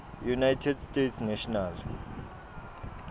united states national